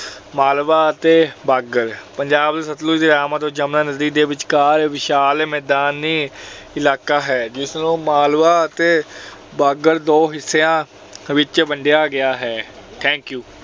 ਮਾਲਵਾ ਅਤੇ ਬਾਂਗਰ ਪੰਜਾਬ ਵਿੱਚ ਸਤਲੁਜ ਦੇ ਅਤੇ ਜਮੁਨਾ ਨਦੀ ਦੇ ਵਿਚਕਾਰ ਵਿਸ਼ਾਲ ਮੈਦਾਨੀ ਇਲਾਕਾ ਹੈ ਜਿਸ ਨੂੰ ਮਾਲਵਾ ਅਤੇ ਬਾਂਗਰ ਦੋ ਹਿੱਸਿਆਂ ਵਿੱਚ ਵੰਡਿਆ ਗਿਆ ਹੈ। thank you